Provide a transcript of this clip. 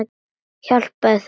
Hjálpa þeim.